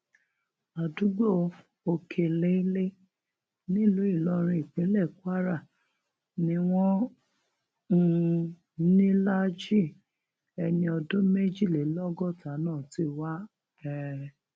àdúgbò òkèléèlé nílùú ìlọrin ìpínlẹ kwara ni wọn um líláàajì ẹni ọdún méjìlélọgọta náà ti wá um